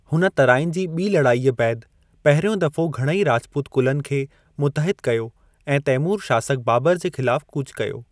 हुन तराइन जी ॿी लड़ाईअ बैदि पहरियों दफ़ो घणई राजपूत कुलनि खे मुतहिदु कयो ऐं तैमूर शासकु बाबर जे ख़िलाफ़ु कूच कयो।